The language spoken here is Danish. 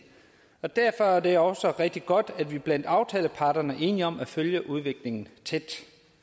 og derfor er det også rigtig godt at vi blandt aftaleparterne er enige om at følge udviklingen tæt